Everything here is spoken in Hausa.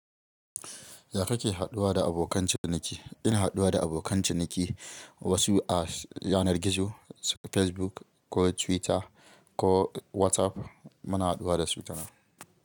Ya kake haɗuwa da abokan ciniki? Ina haɗuwa da abokan ciniki wasu a yanar gizo Facebook ko Twitter ko WhatsApp muna haɗuwa da su tanan.